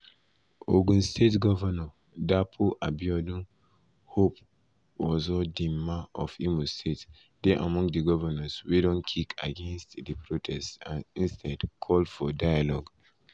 ogun state govnor dapo abiodun hope uzodinma of imo state dey among di govnors wey don kick against di protest and instead call for dialogue.